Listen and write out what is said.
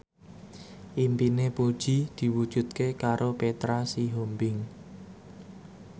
impine Puji diwujudke karo Petra Sihombing